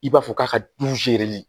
I b'a fɔ k'a ka